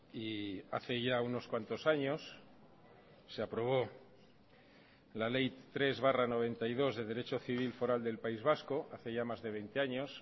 y hace ya unos cuantos años se aprobó la ley tres barra noventa y dos de derecho civil foral del país vasco hace ya más de veinte años